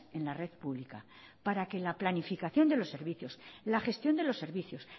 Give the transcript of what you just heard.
en la red pública para que la planificación de los servicios la gestión de los servicios